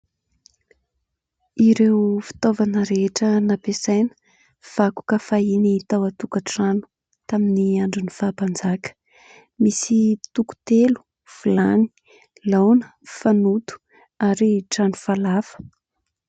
Ireo fitaovana rehetra nampiasaina, vakoka fahiny tao an-tokantrano tamin'ny andron'ny fahampanjaka, misy : toko-telo, vilany, laona, fanoto ary trano falafa.